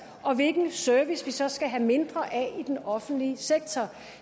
og hvilken service vi så skal have mindre af i den offentlige sektor